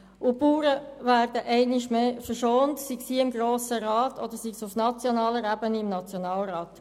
Die Bauern werden einmal mehr verschont, sei es hier im Grossen Rat oder auf nationaler Ebene im Nationalrat.